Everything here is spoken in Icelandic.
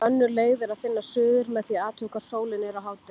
Önnur leið er að finna suður með því að athuga hvar sólin er á hádegi.